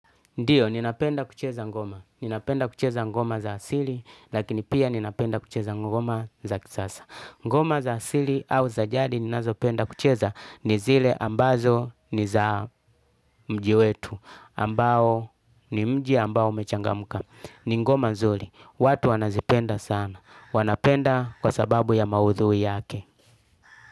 Ndiyo, ninapenda kucheza ngoma. Ninapenda kucheza ngoma za asili, lakini pia ninapenda kucheza ngoma za kisasa. Ngoma za asili au za jadi ninazopenda kucheza ni zile ambazo ni za mji wetu. Ambao ni mji ambao umechangamuka. Ni ngoma nzuli. Watu wanazipenda sana. Wanapenda kwa sababu ya maudhui yake.